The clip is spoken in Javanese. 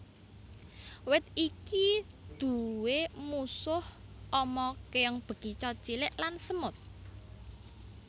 Wit iki nduwé musuh ama kèong bekicot cilik lan semut